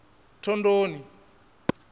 thondoni